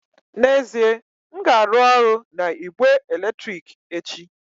N'ezie, m ga-arụ ọrụ na igbe eletrik echi